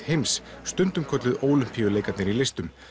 heims stundum kölluð Ólympíuleikarnir í listum